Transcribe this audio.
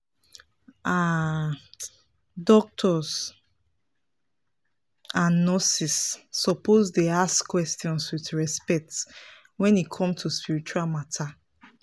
ah doctors and nurses suppose dey ask questions with respect wen e come to spiritual matter.